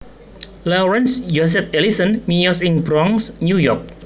Lawrence Joseph Ellison miyos ing Bronx New York